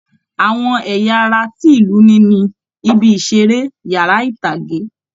Àwọn ẹ̀yà ara tí ìlú ní ni, ibi ìṣeré, yàrá ìtàgé